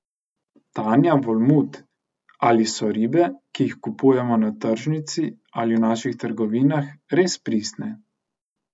Tanja Volmut: ''Ali so ribe, ki jih kupujemo na tržnici ali v naših trgovinah, res pristne?